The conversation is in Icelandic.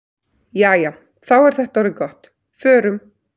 Jæja, þá er þetta orðið gott. Förum.